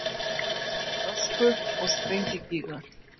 Ösku- og sprengigígar.